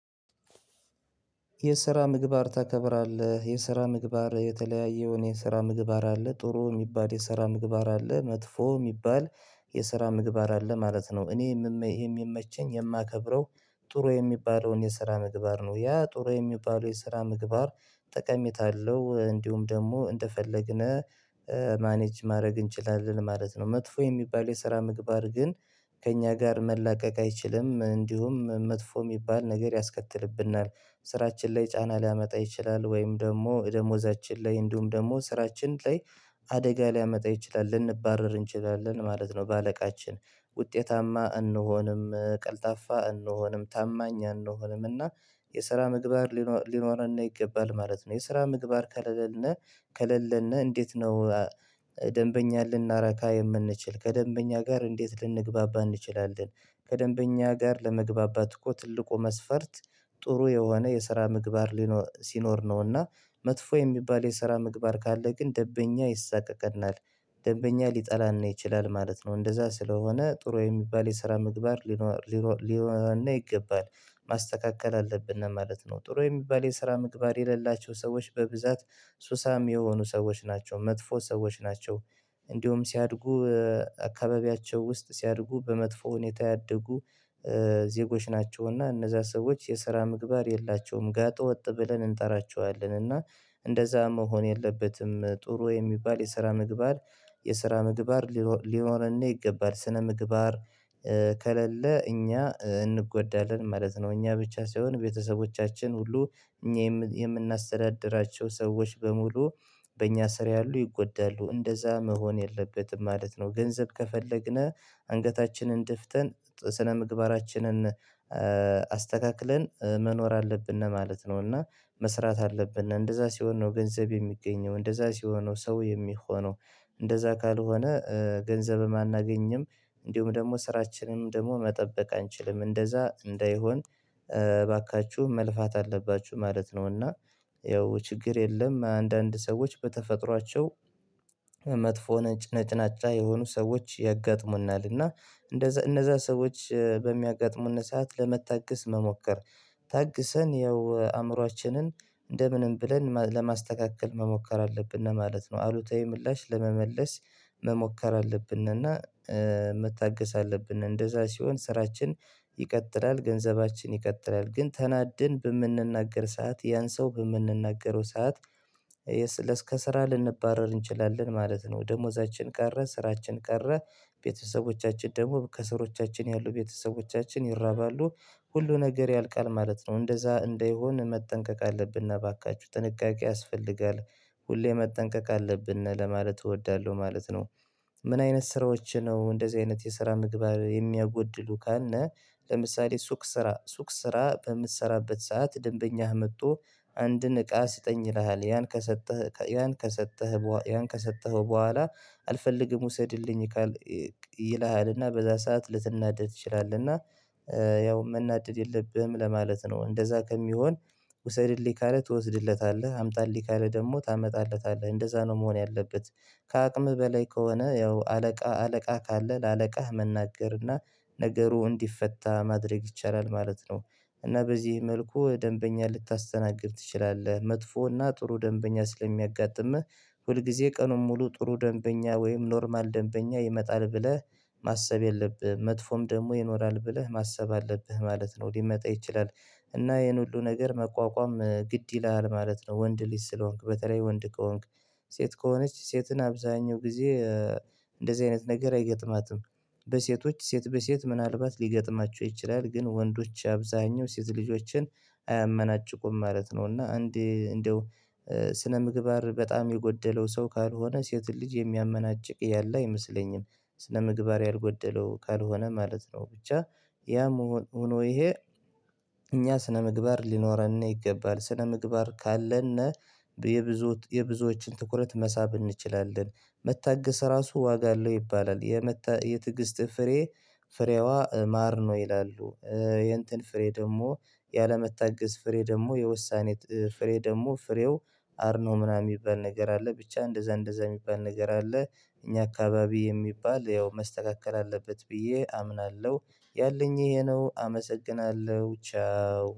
የስራ ምግባር ታከብራለህ የስራ ምግባር የተለያየውን የስራ ምግባር አለ ጥሩ የሚባል የሰራ ምግባር አለ መጥፎ የሚባል የሰራ ምግባር አለ ማለት ነው እኔ የሚመቸኝ የማከብረው ጥሩ የሚባለውን የስራ ምግባር ነው ያ ጥሩ የሚባለው የስራ ምግባር ጠቀሜታ አለው እንዲሁም ደግሞ እንደፈለግን ማኔጅ ማድረግ እንችላለን ማለት ነው። መጥፎ የሚባል የስራ ምግባር ግን ከእኛ ጋር መላቀቅ አይችልም እንዲሁም መጥፎ የሚባል ነገር ያስከትልብናል ስራችን ላይ ጫና ሊያመጣ ይችላል ወይም ደግሞ ደሞዛችን ላይ እንዲሁም ደግሞ ስራችን ላይ አደጋ ሊያመጣ ይችላል ልንባረር እንችላለን ማለት ነው። በአለቃችን ውጤታማ እንሆንም ቀልጣፋ እንሆንም ታማኝ አንሆንም እና የስራ ምግባር ሊኖርና ይገባል ማለት ነው። የስራ ምግባር ከለለነ ከለለነ እንዴት ነው? ደንበኛ ልናረካ የምንችል ከደንበኛ ጋር እንዴት ልንግባባ እንችላለን ከደንበኛ ጋር ለመግባባት እኮ ትልቁ መስፈርት። ጥሩ የሆነ የስራ ምግባር ሊኖር ሲኖር ነውና። መጥፎ የሚባል የስራ ምግባር ካለ ግን ደንበኛ ይሳቀቀናል ደንበኛ ሊጠላና ይችላል ማለት ነው እንደዛ ስለሆነ ጥሩ የሚባል የስራ ምግባር። ሊኖረነ እና ይገባል ማስተካከል አለብን ነው ማለት ነው። ጥሩ የሚባል የስራ ምግባር የሌላቸው ሰዎች በብዛት ሱሳም የሆኑ ሰዎች ናቸው መጥፎ ሰዎች ናቸው። እንዲሁም ሲያድጉ አካባቢያቸው ውስጥ ሲያድጉ በመጥፎ ሁኔታ ያደጉ ዜጎች ናቸውና እነዛ ሰዎች የስራ ምግባር የላቸውም። ጋጠ ወጥ ብለን እንጠራቸዋለን እና እንደዛ መሆን የለበትም። ጥሩ የሚባል የስራ ምግባር የሰራ ምግባር ሊኖረን ነው ይገባል ስነ ምግባር። ከሌለ እኛ እንጎዳለን ማለት ነው። እኛ ብቻ ሳይሆን ቤተሰቦቻችን ሁሉ እኛ የምናስተዳድራቸው ሰዎች በሙሉ በእኛ ስር ያሉ ይጎዳሉ። እንደዛ መሆን የለበትም ማለት ነው። ገንዘብ ከፈለግነ አንገታችንን ድፍተን ስነምግባራችንን አስተካክለን መኖር አለብን ነው ማለት ነው። እና መስራት አለብን እንደዛ ሲሆን ነው ገንዘብ የሚገኘው እንደዛ ሲሆን ነው ሰው የሚሆነው። እንደዛ ካልሆነ ገንዘብም አናገኝም። እንዲሁም ደግሞ ስራችንንም ደግሞ መጠበቅ አንችልም። እንደዛ እንዳይሆን እባካችሁ መልፋት አለባችሁ ማለት ነውና። ያው ችግር የለም። አንዳንድ ሰዎች በተፈጥሯቸው መጥፎ ነጭናጫ የሆኑ ሰዎች ያጋጥሙናል እና እንደዛ እነዛ ሰዎች በሚያጋጥሙን ሰዓት ለመታገስ መሞከር ታግሰን ያው አእምሮአችንን እንደ ምንም ብለን ለማስተካከል መሞከር አለብን ነው ማለት ነው። አሉታዊ ምላሽ ለመመለስ መሞከር አለብን። እና መታገስ አለብን እንደዛ ሲሆን ስራችን ይቀጥላል ገንዘባችን ይቀጥላል። ግን ተናድን በምንናገር ሰዓት ያን ሰው በምንናገረው ሰዓት ለስከስራ ልንባረር እንችላለን ማለት ነው። ደሞዛችን ቀረ ስራችን ቀረ። ቤተሰቦቻችን ደግሞ ከስሮቻችን ያሉ ቤተሰቦቻችን ይራባሉ። ሁሉ ነገር ያልቃል ማለት ነው። እንደዛ እንዳይሆን መጠንቀቅ አለብንና እባካችሁ ጥንቃቄ ያስፈልጋል። ሁሌ መጠንቀቅ አለብን ለማለት እወዳለሁ ማለት ነው። ምን አይነት ስራዎች ነው እንደዚህ አይነት የስራ ምግባር የሚያጎድሉ ካነ? ለምሳሌ ሱቅ ስራ ሱቅ ስራ በምትሰራበት ሰዓት ደንበኛ መጥቶ አንድን እቃ ስጠኝ ይልሃል ያን ከሰጠህ ያን ከሰጠህ ያን ከሰጠኸው በኋላ አልፈልግም ውሰድልኝ። ይልሀልና በዛ ሰዓት ልትናደድ ትችላለህና። ያው መናደድ የለብህም ለማለት ነው። እንደዛ ከሚሆን ውሰድልኝ ካለ ትወስድለታለህ አምጣልኝ ካለ ደግሞ ታመጣለታለህ እንደዛ ነው መሆን ያለበት። ከአቅምህ በላይ ከሆነ ያው አለቃ አለቃ ካለ ለአለቃህ መናገርና ነገሩ እንዲፈታ ማድረግ ይቻላል ማለት ነው። እና በዚህ መልኩ ደንበኛ ልታስተናግድ ትችላለህ። መጥፎ እና ጥሩ ደንበኛ ስለሚያጋጥምህ። ሁልጊዜ ቀኑን ሙሉ ጥሩ ደንበኛ ወይም ኖርማል ደንበኛ ይመጣል ብለህ ማሰብ የለብህም መጥፎም ደግሞ ይኖራል ብለህ ማሰብ አለብህ ማለት ነው ሊመጣ ይችላል። እና ይሄን ሁሉ ነገር መቋቋም ግድ ይላል ማለት ነው። ወንድ ልጅ ስለሆንክ በተለይ ወንድ ከሆንክ። ሴት ከሆነች ሴትን አብዛኛው ጊዜ እንደዚህ አይነት ነገር አይገጥማትም። በሴቶች ሴት በሴት ምናልባት ሊገጥማቸው ይችላል ግን ወንዶች አብዛኛው ሴት ልጆችን አያመናጭቁም ማለት ነው። እና እንዴ እንደው ስነ ምግባር በጣም የጎደለው ሰው ካልሆነ ሴት ልጅ የሚያመናጭቅ ያለ አይመስለኝም። ስነ ምግባር ያልጎደለው ካልሆነ ማለት ነው። ብቻ ያም ሆኖ ይሄ እኛ ስነ ምግባር ሊኖረነ ይገባል ስነ ምግባር ካለነ ነው። የብዙ የብዙዎችን ትኩረት መሳብ እንችላለን። መታገስ ራሱ ዋጋ አለው ይባላል የመታ የትግስት ፍሬ። ፍሬዋ ማር ነው ይላሉ። የእንትን ፍሬ ደግሞ ያለመታገስ ፍሬ ደግሞ የውሳኔት ፍሬ ደግሞ ፍሬው አር ነው ምናምን የሚባል ነገር አለ ብቻ እንደዛ እንደዛ የሚባል ነገር አለ። እኛ አካባቢ የሚባል ያው መስተካከል አለበት ብዬ አምናለሁ። ያለኝ ይሄ ነው አመሰግናለሁ። ቻው